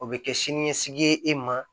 O bɛ kɛ siniɲɛsigi ye e ma